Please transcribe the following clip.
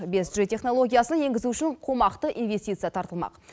бес джи технологиясын енгізу үшін қомақты инвестиция тартылмақ